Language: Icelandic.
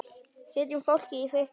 Setjum fólkið í fyrsta sæti.